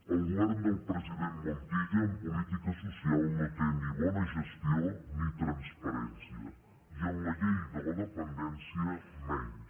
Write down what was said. el govern del president montilla en política social no té ni bona gestió ni transparència i en la llei de la dependència menys